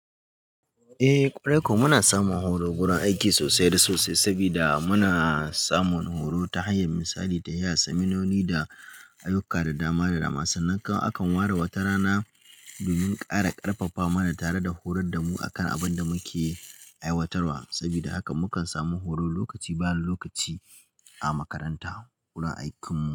Eh, ƙwarai ko muna samun horo wurin aiki sosai da sosai, saboda muna samun horo ta hanyar misali da iya seminoni da ayuka da dama da dama. Sannan akan ware wata rana domin ƙara ƙarfafa mana tare da horar da mu akan abin da muke aiwatarwa. Saboda haka mukan samu horo lokaci bani lokaci a makaranta wurin aikinmu.